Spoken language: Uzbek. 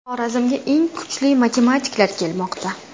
Xorazmga eng kuchli matematiklar kelmoqda.